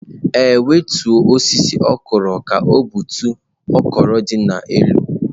Ee, wetuọ osịsị okwụrụ ka ọ gbutuo okwụrụ di n'elu.